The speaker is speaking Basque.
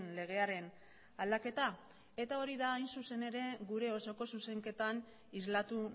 legearen aldaketa eta hori da hain zuzen ere gure osoko zuzenketan islatu